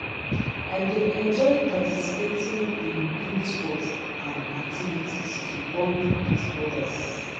I dey enjoy participating in group sports and activities to bond with others.